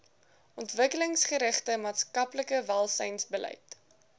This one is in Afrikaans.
ontwikkelingsgerigte maatskaplike welsynsbeleid